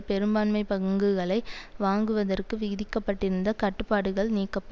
பெரும்பான்மைப் பங்குகளை வாங்குவதற்கு விதிக்க பட்டிருந்த கட்டுப்பாடுகள் நீக்கப்ப